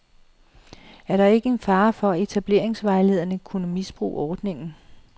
Er der ikke en fare for, at etableringsvejlederne kunne misbruge ordningen.